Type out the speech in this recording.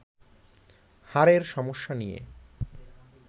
হাড়ের সমস্যা নিয়ে